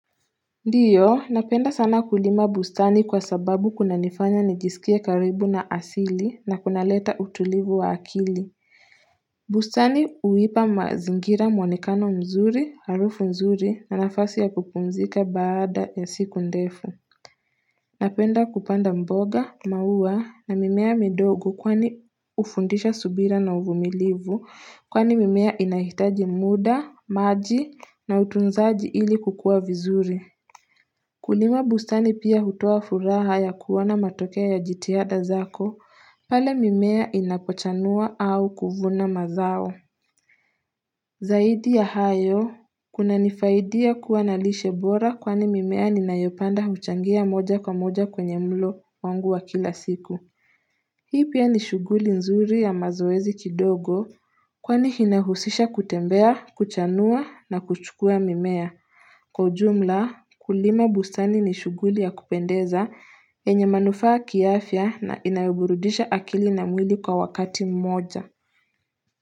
Ndiyo napenda sana kulima bustani kwa sababu kuna nifanya nijisikie karibu na asili na kunaleta utulivu wa akili bustani uwipa mazingira mwonekano mzuri, harufu nzuri na nafasi ya kupumzika baada ya siku ndefu Napenda kupanda mboga, mauwa na mimea midogo kwani ufundisha subira na uvumilivu kwani mimea inahitaji muda, maji na utunzaji ili kukua vizuri Kulima bustani pia hutoa furaha ya kuona matokea ya jitihada zako, pale mimea inapochanua au kuvuna mazao. Zaidi ya hayo, kuna nifaidia kua na lishe bora kwani mimea ninayopanda huchangia moja kwa moja kwenye mlo wangu wa kila siku. Hii pia ni shughuli nzuri ya mazoezi kidogo kwani hinahusisha kutembea, kuchanua na kuchukua mimea. Kwa ujumla, kulima busani ni shuguli ya kupendeza, yenye manufaa kiafya na inayoburudisha akili na mwili kwa wakati mmoja.